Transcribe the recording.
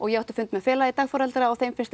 ég átti fund með félagi dagforeldra og þeim finnst